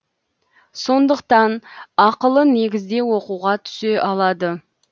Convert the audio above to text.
сондықтан ақылы негізде оқуға түсе алады